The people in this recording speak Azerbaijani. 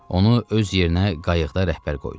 Onu öz yerinə qayıqda rəhbər qoydu.